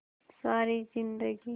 सारी जिंदगी